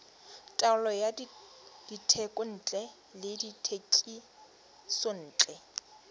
taolo ya dithekontle le dithekisontle